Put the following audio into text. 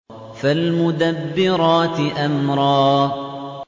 فَالْمُدَبِّرَاتِ أَمْرًا